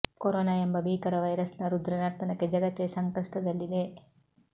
corona ಎಂಬ ಭೀಕರ virus ನ ರುದ್ರ ನರ್ತನಕ್ಕೆ ಜಗತ್ತೇ ಸಂಕಷ್ಟದಲ್ಲಿದೆ